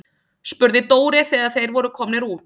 spurði Dóri þegar þeir voru komnir út.